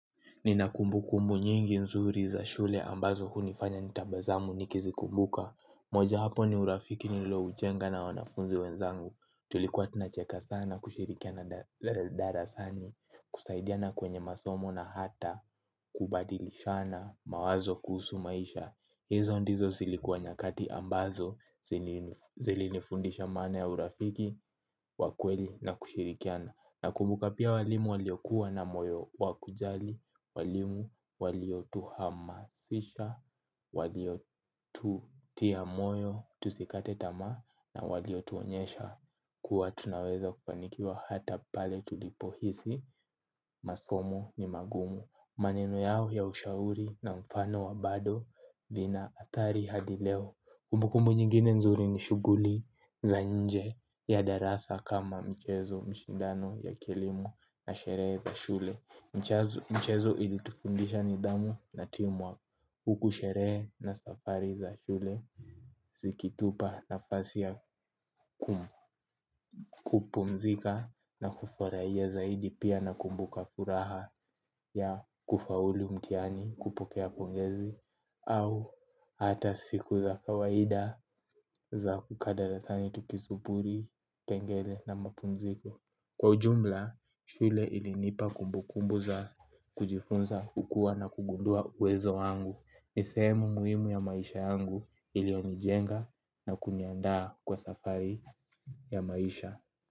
Nina kumbu kumbu nyingi nzuri za shule ambazo hunifanya nitabasamu nikizi kumbuka. Moja wapo ni urafiki nilioujenga na wanafunzi wenzangu. Tulikuwa tunacheka sana kushirikiana darasani. Kusaidiana kwenye masomo na hata kubadilishana mawazo kuhusu maisha. Hizo ndizo zilikuwa nyakati ambazo zilinifundisha maana ya urafiki wa kweli na kushirikiana. Nakumbuka pia walimu waliokuwa na moyo wakujali, walimu waliotuhamasisha, waliotutia moyo tusikate tamaa na waliotuonyesha kuwa tunaweza kufanikiwa hata pale tulipohisi, masomo ni magumu. Maneno yao ya ushauri na mfano wa bado vina athari hadi leo. Kumbukumbu nyingine nzuri ni shuguli za nje ya darasa kama michezo mashindano ya kielimu na sherehe za shule. Michezo ili tufundisha nidhamu na timu work huku sherehe na safari za shule zikitupa nafasi ya kupumzika na kufurahia zaidi pia na kumbuka furaha ya kufaulu mtihani kupokea pongezi. Au hata siku za kawaida za kukaa darasani tukisuburi, kengele na mapumziko. Kwa jumla, shule ilinipa kumbu kumbu za kujifunza, kukua na kugundua uwezo wangu. NI sehemu muhimu ya maisha yangu, iliyonijenga na kuniandaa kwa safari ya maisha.